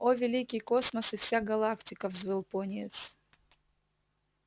о великий космос и вся галактика взвыл пониетс